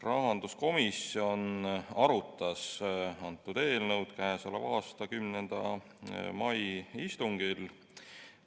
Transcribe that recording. Rahanduskomisjon arutas seda eelnõu käesoleva aasta 10. mai istungil.